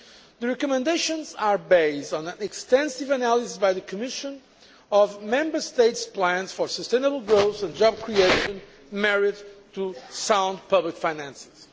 The recommendations are based on an extensive analysis by the Commission of Member States' plans for sustainable growth and job creation, married to sound public finances.